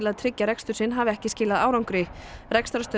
að tryggja rekstur sinn hafi ekki skilað árangri